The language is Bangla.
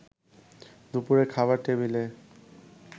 দুপুরে খাবার টেবিলে